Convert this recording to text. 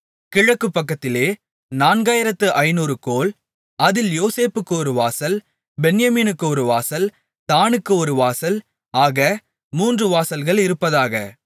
கிழக்கு பக்கத்திலே நான்காயிரத்து ஐந்நூறு கோல் அதில் யோசேப்புக்கு ஒரு வாசல் பென்யமீனுக்கு ஒரு வாசல் தாணுக்கு ஒரு வாசல் ஆக மூன்று வாசல்கள் இருப்பதாக